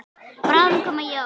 Bráðum koma jól.